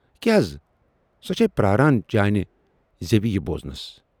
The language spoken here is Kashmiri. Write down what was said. کیاہ حَض؟ ""سۅ چھَے پراران چانہِ زٮ۪وِ یہِ بوٗزنَس۔